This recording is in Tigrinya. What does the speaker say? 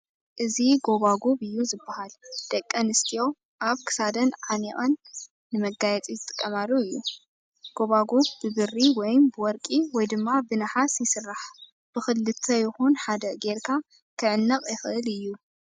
እዚ ጎባጉብ እዩ ዝበሃል ፡ ደቐንስትዮ ኣብ ክሳደን ዓኒቐን ንመጋየፂ ዝጥቐማሉ እዩ፡ ጎባጉብ ብብሪ ወይም ብወርቒ ወይ ድማ ብነሃስ ይስራሕ ፡ ብኽልተ ይኹን ሓደ ጌርካ ክዕነቕ ይኽእል እዩ።